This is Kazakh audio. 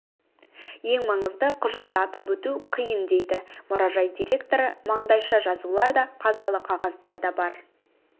ең маңызды құжатты атап өту қиын дейді мұражай директоры маңдайша жазулар да қазалы қағаздар да бар